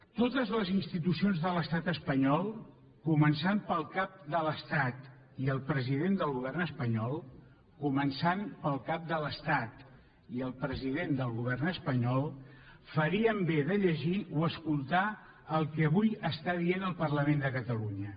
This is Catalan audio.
totes les institucions de l’estat espanyol començant pel cap de l’estat i el president del govern espanyol començant pel cap de l’estat i el president del govern espanyol farien bé de llegir o escoltar el que avui està dient el parlament de catalunya